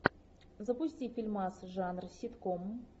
запусти фильмас жанр ситком